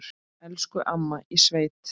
Elsku amma í sveit.